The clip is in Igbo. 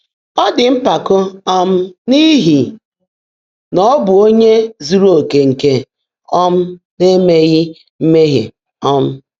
Ọ̀ ḍị́ mpákó um n’íhí ná ọ́ bụ́ ónyé zúúrú ókè nkè um ná-èméghị́ mmèhié? um